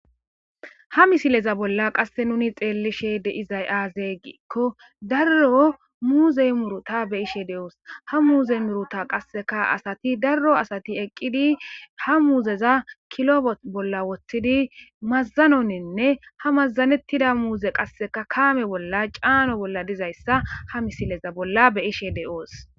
Ha misileza bolla qasse nuni xeellishe deizay aazey giikko darro muuzey muruta be ishe de'oos ha muuze miruta qasseka asati darro asati eqqidi ha muuzeza kilobot bolla woththidi mazzanoninne ha mazanettida muuze qasseka kaame bolla caano bolla dizayssa ha misileza bolla beyishe de'oos.